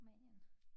Rumænien